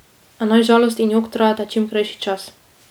A naj žalost in jok trajata čim krajši čas.